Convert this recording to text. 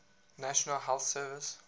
national health service